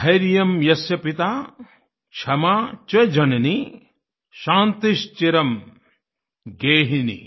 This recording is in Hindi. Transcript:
धैर्यं यस्य पिता क्षमा च जननी शान्तिश्चिरं गेहिनी